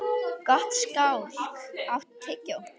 Gottskálk, áttu tyggjó?